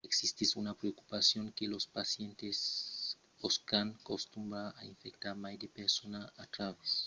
existís una preocupacion que los pacients pòscan contunhar a infectar mai de personas a travèrs de lor rotina jornalièra se los simptòmes de la gripa demòran leugièrs